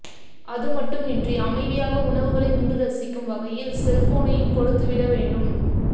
அதுமட்டுமின்றி அமைதியாக உணவுகளை உண்டு ரசிக்கும் வகையில் செல்போனையும் கொடுத்துவிட வேண்டும்